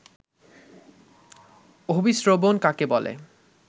অভিস্রবণ কাকে বলে